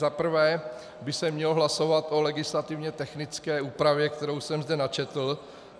Za prvé by se mělo hlasovat o legislativně technické úpravě, kterou jsem zde načetl.